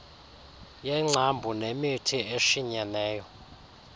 yengcambu nemithi eshinyeneyo